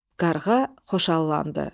Qarğa xoşallandı.